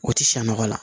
O tɛ sa nɔgɔ la